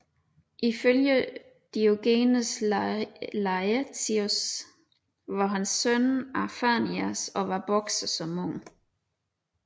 Ifølge Diogenes Laertius var han søn af Phanias og var bokser som ung